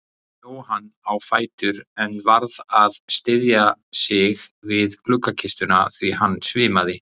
Jóhann á fætur en varð að styðja sig við gluggakistuna því hann svimaði.